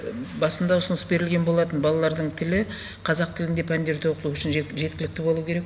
басында ұсыныс берілген болатын балалардың тілі қазақ тілінде пәндерді оқу үшін жеткілікті болу керек